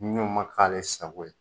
Ni u ma k'ale sago ye